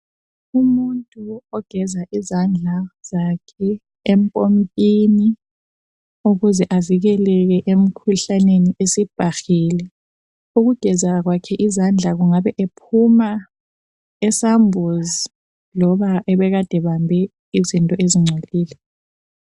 Umuntu ogeza izandla zakhe empompini ukuze avikeleke emikhuhlaneni esibhahile. Ukugeza kwakhe izandla angabe ephuma esambuzi loba ebekade ebambi izinto ezigcolile.